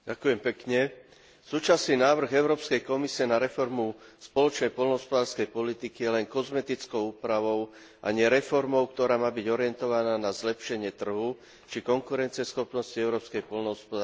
Súčasný návrh Európskej komisie na reformu spoločnej poľnohospodárskej politiky je len kozmetickou úpravou a nie reformou, ktorá má byť orientovaná na zlepšenie trhu či konkurencieschopnosti európskej poľnohospodárskej produkcie.